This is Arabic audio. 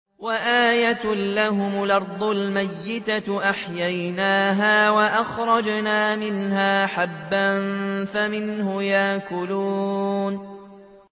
وَآيَةٌ لَّهُمُ الْأَرْضُ الْمَيْتَةُ أَحْيَيْنَاهَا وَأَخْرَجْنَا مِنْهَا حَبًّا فَمِنْهُ يَأْكُلُونَ